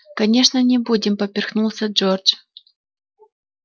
конечно не будем поперхнулся джордж